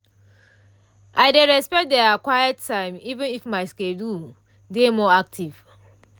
i dey respect dia quiet time even if my schedule dey more active.